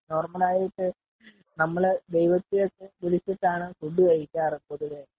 നമ്മള് ദൈവത്തെ വിളിച്ചിട്ടു ആണ് ഫുഡ്‌ കഴിക്കാറ് പൊതുവെ .